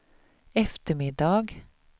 eftermiddag